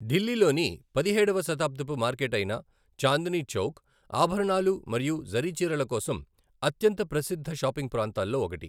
ఢిల్లీలోని పదిహేడవ శతాబ్దపు మార్కెట్ అయిన చాందినీ చౌక్, ఆభరణాలు మరియు జరీ చీరల కోసం అత్యంత ప్రసిద్ధ షాపింగ్ ప్రాంతాల్లో ఒకటి.